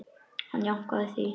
Hann jánkaði því.